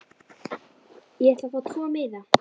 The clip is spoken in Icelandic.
Ég ætla að fá tvo miða.